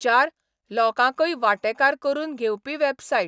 चार, लोकांकय वांटेकार करून घेवपी वॅबसायट.